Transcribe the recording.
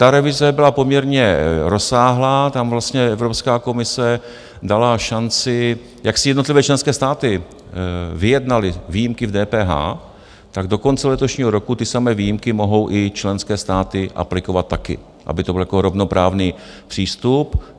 Ta revize byla poměrně rozsáhlá, tam vlastně Evropská komise dala šanci, jak si jednotlivé členské státy vyjednaly výjimky v DPH, tak do konce letošního roku ty samé výjimky mohou i členské státy aplikovat také, aby to bylo jako rovnoprávný přístup.